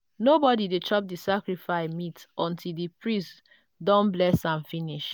nobody dey chop the sacrifice meat until di priest don bless am finish.